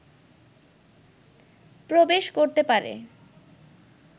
প্রবেশ করতে পারে